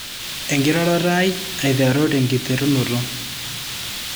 Enkiroroto ai aiteru tenkiterunoto.